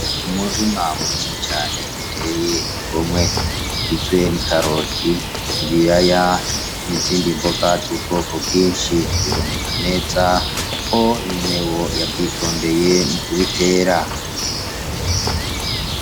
Umururima munini cane uteye igomwe ugizwe, n'i karoki, ibiraya n'izindi mboga z'ubwoko bwinshi, biboneka neza ko inyenewo yavyitondeye mu kubitera.